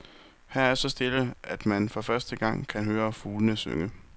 Her er så stille, at man for første gang, kan høre fuglene synge.